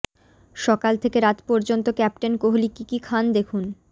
সকাল থেকে রাত পর্যন্ত ক্যাপ্টেন কোহলি কী কী খান দেখুন